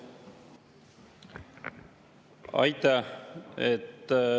Aitäh!